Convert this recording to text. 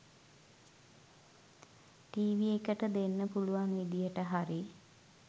TV එකට දෙන්න පුලුවන් විදියට හරි